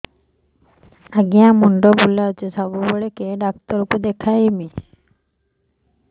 ଆଜ୍ଞା ମୁଣ୍ଡ ବୁଲାଉଛି ସବୁବେଳେ କେ ଡାକ୍ତର କୁ ଦେଖାମି